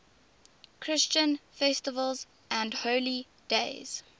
christian festivals and holy days